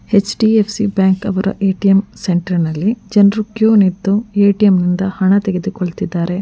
HDFC bank ಅವರ ATM centre ನಲ್ಲಿ ಜನರು ಕ್ಯೂ ನಿಂತು ಎ.ಟಿ.ಎಂ ನಿಂದ ಹಣ ತೆಗೆದುಕೊಳ್ಳುತ್ತಿದ್ದಾರೆ.